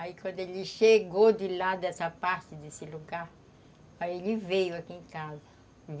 Aí quando ele chegou de lá, dessa parte, desse lugar, aí ele veio aqui em casa.